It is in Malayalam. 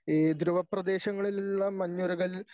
ഈ ധ്രുവ പ്രദേശങ്ങളിലുള്ള മഞ്ഞുരുകൽ